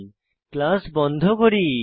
তারপর আমরা ক্লাস বন্ধ করি